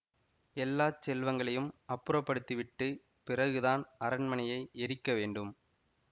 எல்லா செல்வங்களையும் அப்புறப்படுத்தி விட்டு பிறகுதான் அரண்மனையை எரிக்க வேண்டும்